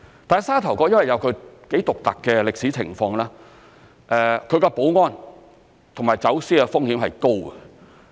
但沙頭角有其獨特的歷史情況，其保安及走私風險是高的。